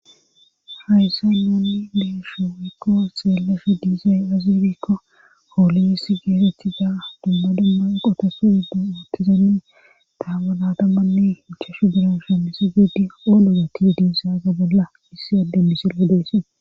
hayssa nounni deeshowykko xeellefe diizay azirikko hooliyes geetettiza dumma dumma qotasu uddu ootizani taawanadammanne hichashu biran shemisi gedi oolorati diisaza bolla issi adde misillo deysse